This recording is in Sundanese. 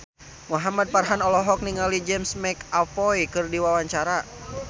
Muhamad Farhan olohok ningali James McAvoy keur diwawancara